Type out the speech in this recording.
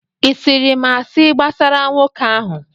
ị sịịrị m asị gbasara nwoke ahụ?